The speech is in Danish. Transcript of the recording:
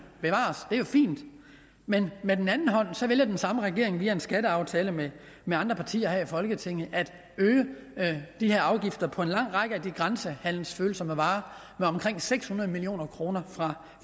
bevares det er jo fint men med den anden hånd vælger den samme regering via en skatteaftale med med andre partier her i folketinget at øge de her afgifter på en lang række af de grænsehandelsfølsomme varer med omkring seks hundrede million kroner fra